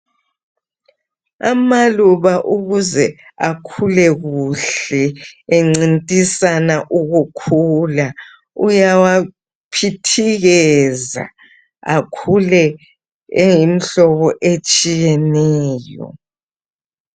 Amaluba ukuze akhule kuhle encintisana ukukhula uyawaphithikeza akhule eyimhlobo etshiyeneyo.